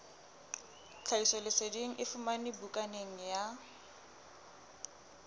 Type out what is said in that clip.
tlhahisoleseding e fumanwe bukaneng ya